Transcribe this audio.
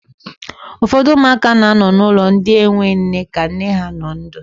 Ụfọdụ ụmụaka na anọ n'ulọ ndị enwe nne ka nne ha nọ ndụ.